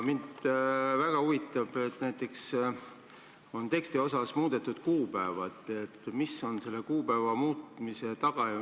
On muudetud ka üht kuupäeva ja mind väga huvitab, mis on selle muudatuse taga.